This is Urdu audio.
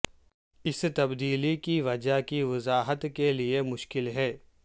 اس تبدیلی کی وجہ کی وضاحت کے لئے مشکل ہے